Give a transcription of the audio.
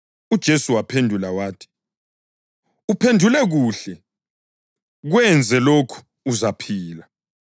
UJesu waphendula wathi, “Uphendule kuhle. Kwenze lokhu, uzaphila.”